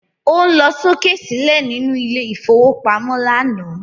O ń lọ sókè sílẹ̀ nínú ilé ìfowópamọ́ lánàá